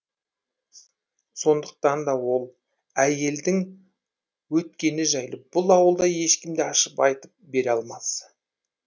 сондықтан да ол әйелдің өткені жайлы бұл ауылда ешкім де ашып айтып бере алмас